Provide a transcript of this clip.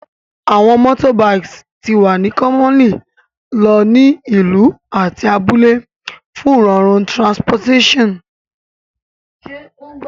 Awọn motorbikes ti wa ni commonly lo ni ilu ati abule fun rorun transportation